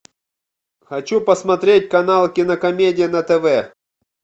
хочу посмотреть канал кинокомедия на тв